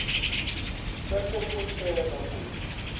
bese ikutjela kutsi